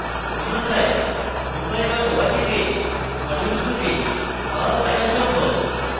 অন্যথায় drupal dot org তে modules খুঁজে পাওয়া প্রায় অসম্ভব